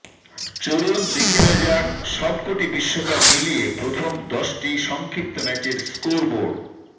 চলুন দেখে নেওয়া যাক সবকটি বিশ্বকাপ মিলিয়ে প্রথম দশটি সংক্ষিপ্ত ম্যাচের স্কোরবোর্ড